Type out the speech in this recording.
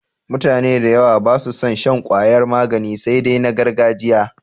Mutane da yawa ba su son shan ƙwayar magani sai dai na gargajiya.